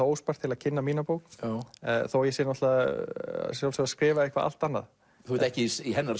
óspart til að kynna mína bók þó ég sé að sjálfsögðu að skrifa eitthvað allt annað þú ert ekki í hennar